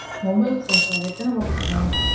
Mobiles ஆ sir? எத்தன mobile sir வேணும்?